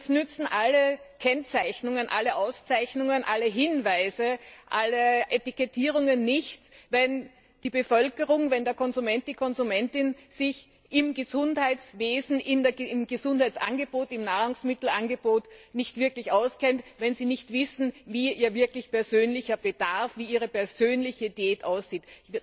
Denn uns nützen alle Kennzeichnungen, alle Auszeichnungen, alle Hinweise, alle Etikettierungen nicht, wenn die Bevölkerung, der Konsument, die Konsumentin sich im Gesundheitswesen, in Gesundheitsangeboten, im Nahrungsmittelangebot nicht wirklich auskennt, wenn sie nicht wissen, wie ihr wirklich persönlicher Bedarf, ihre persönliche Diät aussieht.